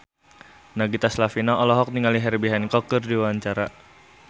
Nagita Slavina olohok ningali Herbie Hancock keur diwawancara